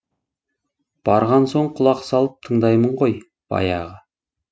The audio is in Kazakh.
барған соң құлақ салып тыңдаймын ғой баяғы